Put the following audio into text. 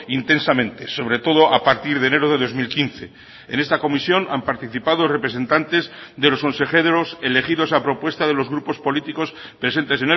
intensamente sobre todo a partir de enero de dos mil quince en esta comisión han participado representantes de los consejeros elegidos a propuesta de los grupos políticos presentes